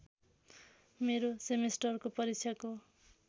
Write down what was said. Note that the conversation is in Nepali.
मेरो सेमेस्टरको परीक्षाको